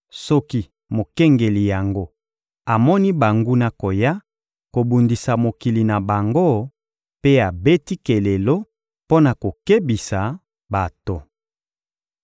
soki mokengeli yango amoni banguna koya kobundisa mokili na bango mpe abeti kelelo mpo na kokebisa bato.